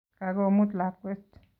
Kagomut lakwet